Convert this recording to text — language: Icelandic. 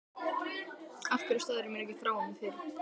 Af hverju sagðirðu mér ekki frá honum fyrr?